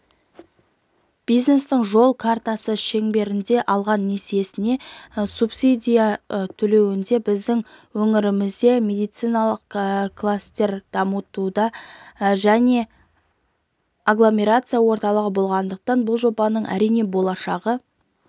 бизнестің жол картасы шеңберінде алған несиесіне субсидия төленуде біздің өңірімізде медициналық класстер дамуда және агломерация орталығы болғандықтан бұл жобаның әрине болашағы